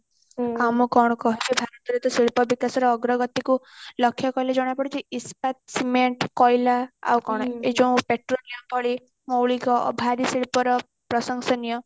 ଆଉ ମୁଁ କଣ କହିବି ଭାରତର ତ ଶିଳ୍ପ ବିକାଶ ଅଗ୍ରଗତି କୁ ଲକ୍ଷ୍ୟ କଲେ ଜଣା ପଡୁଛି ଇସ୍ପାତ ସିମେଣ୍ଟ କୋଇଲା ଆଉ କଣ ଏଇ ଯୋଉ petroleum ଭଳି ମୌଳିକ ଭାରି ଶିଳ୍ପ ର ପ୍ରଶଂସନିୟ